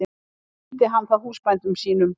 Sýndi hann það húsbændum sínum.